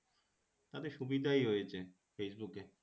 তাতে সুবিধাই হয়েছে Facebook এ